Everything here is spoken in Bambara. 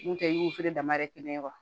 N'o tɛ i y'u feere dama dɛ kelen ye wa